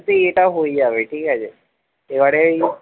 এটাও হয়ে যাবে ঠিকাছে এবারে